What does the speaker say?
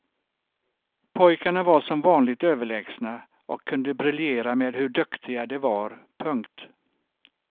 Pojkarna var som vanligt överlägsna och kunde briljera med hur duktiga de var. punkt